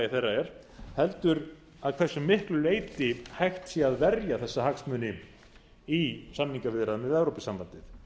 þeirra er heldur að hversu miklu leyti hægt sé að verja þessa hagsmuni í samningaviðræðum við evrópusambandið